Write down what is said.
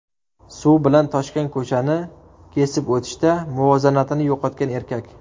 Suv bilan toshgan ko‘chani kesib o‘tishda muvozanatini yo‘qotgan erkak.